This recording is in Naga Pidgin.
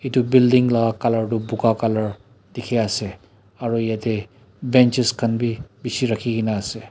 itu building la color toh buka color dikhi ase aro yetey benches khan bi bishi rakhi ge na ase.